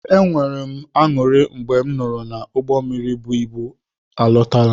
E nwere m añụrị mgbe m nụrụ na ụgbọ mmiri bụ ịbụ m erutela.